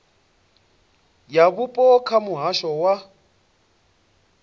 ya vhupo kha muhasho wa